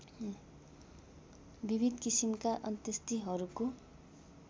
विविध किसिमका अन्त्येष्टिहरूको